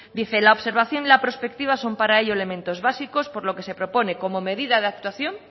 dice la observación y la prospectiva son para ello elementos básicos por lo que se propone como medida de actuación